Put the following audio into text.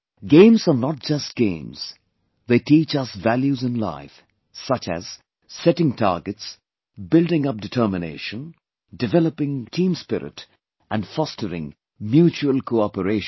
Games are not just games; they teach us values in life, such as, setting targets, building up determination, developing team spirit and fostering mutual cooperation